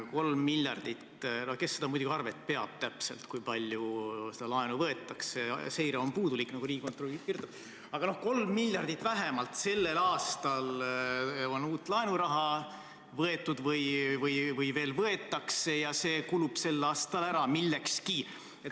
3 miljardit – kes seda arvet muidugi täpselt peab, kui palju seda laenu võetakse, seire on puudulik, nagu Riigikontroll kirjutab –, aga 3 miljardit vähemalt on sellel aastal uut laenuraha võetud või veel võetakse ja see kulub sel aastal millekski ära.